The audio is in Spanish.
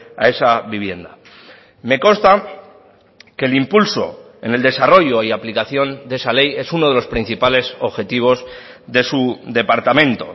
a esa vivienda me consta que el impulso en el desarrollo y aplicación de esa ley es uno de los principales objetivos de su departamento